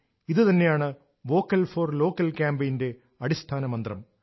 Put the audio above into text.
ഇത് തന്നെയാണ് vocal for local ക്യാപയിന്റെ ചേതനയും